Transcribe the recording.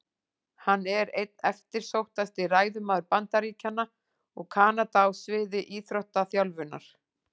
Hann er einn eftirsóttasti ræðumaður Bandaríkjanna og Kanada á sviði íþróttaþjálfunar.